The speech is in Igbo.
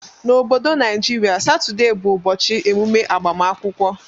Na obodo naijiria satuday bu ụbọchi emume agbamakwụkwọ.